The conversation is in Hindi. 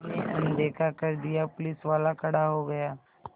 मैंने अनदेखा कर दिया पुलिसवाला खड़ा हो गया